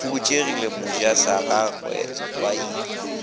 e fokotšegile mojasagagwe ba agile